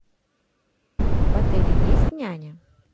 в отеле есть няня